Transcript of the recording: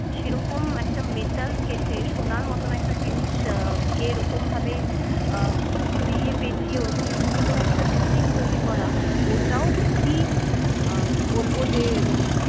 সেরকম একটা metal কেটে সোনার মত একটা জিনিসকে এরকমভাবে আহ ঘুরিয়ে পেঁচিয়ে ওরকম সুন্দর একটা building তৈরী করা ওটাও খুবই আহ বলব যে